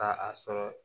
Ka a sɔrɔ